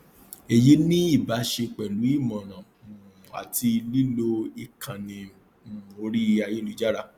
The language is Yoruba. èyí ní ìbá ṣe pẹlú ìmọràn um àti lílo ìkànnì um orí ayélujára